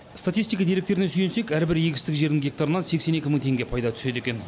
статистика деректеріне сүйенсек әрбір егістік жердің гектарынан сексен екі мың теңге пайда түседі екен